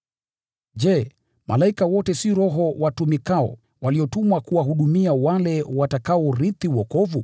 Je, malaika wote si roho watumikao, waliotumwa kuwahudumia wale watakaourithi wokovu?